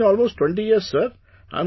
It has been almost 20 years sir